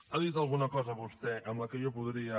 ha dit alguna cosa vostè amb què jo podria